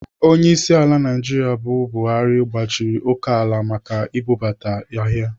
Onyeisiala Naijiria bụ Buhari gbachiri okeala Naijiria maka ibubata ahịa.